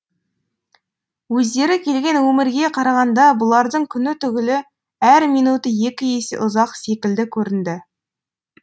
өздері келген өмірге қарағанда бұлардың күні түгілі әр минуты екі есе ұзақ секілді көрінді